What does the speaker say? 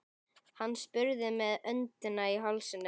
Hann spurði með öndina í hálsinum.